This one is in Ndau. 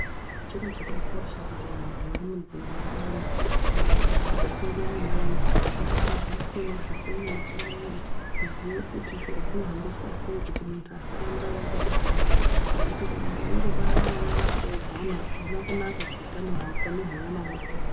Chiro chakakosha kuti vantu vari mudzimva vayana kana kuti vachangopindamwo vayana vadzidziswe nezve femiri puraningi kuziye kuti zviro zvinohambiswa sei kuti muntu asaramba eingobara nekuti kuramba weingobara vana vakateedzana azvina kunaka kuutano hwako nehwevana vakhona.